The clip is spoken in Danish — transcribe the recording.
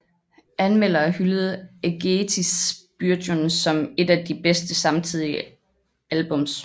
Anmeldere hyldede Ágætis byrjun som et af de bedste samtidige albums